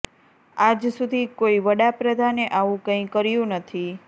આજ સુધી કોઈ વડા પ્રધાને આવું કંઈ કર્યું નથી